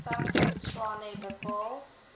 stad tshwane bepaal